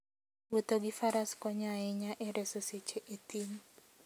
Wuotho gi faras konyo ahinya e reso seche e thim.